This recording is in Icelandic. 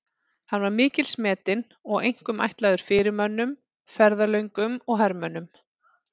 Hann var mikils metinn og einkum ætlaður fyrirmönnum, ferðalöngum og hermönnum.